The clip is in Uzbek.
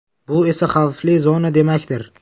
Bu esa xavfli zona demakdir.